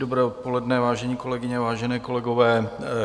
Dobré odpoledne, vážené kolegyně, vážení kolegové.